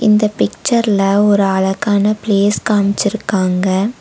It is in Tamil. இந்த பிக்சர்ல ஒரு அழகான பிளேஸ் காம்ச்சிருக்காங்க.